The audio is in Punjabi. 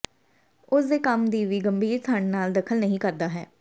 ਉਸ ਦੇ ਕੰਮ ਦੀ ਵੀ ਗੰਭੀਰ ਠੰਡ ਨਾਲ ਦਖਲ ਨਹੀ ਕਰਦਾ ਹੈ